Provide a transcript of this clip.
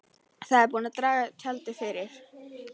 Það er búið að draga tjaldið fyrir.